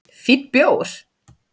Fínn bjór